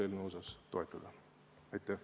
Aitäh!